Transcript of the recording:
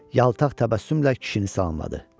Yaltaq təbəssümlə kişini salamladı.